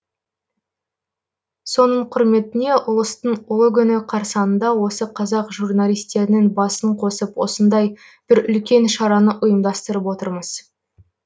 соның құрметіне ұлыстың ұлы күні қарсанында осы қазақ журналистерінің басын қосып осындай бір үлкен шараны ұйымдастырып отырмыз